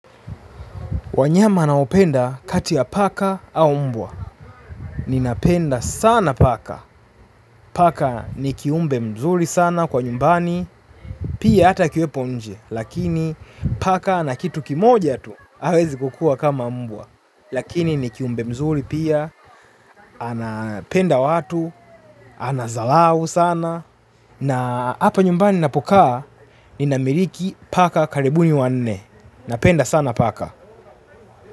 Wanyama naopenda kati ya paka au mbwa. Ninapenda sana paka. Paka ni kiumbe mzuri sana kwa nyumbani. Pia ata akiwepo nje. Lakini paka na kitu kimoja tu awezi kukua kama mbwa. Lakini ni kiumbe mzuri pia. Anapenda watu. Anazalau sana. Na hapa nyumbani napokaa. Ninamiliki paka karibuni wanne. Napenda sana paka.